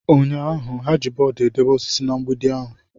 Ụnyaahụ, ha ji bọọdụ edebe osisi na mgbidi ahụ.